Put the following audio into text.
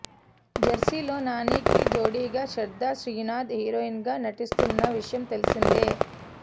జెర్సీలో నానికి జోడీగా శ్రద్దా శ్రీనాథ్ హీరోయిన్గా నటిస్తున్న విషయం తెల్సిందే